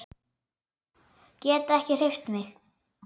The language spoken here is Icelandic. Get ekki hreyft mig.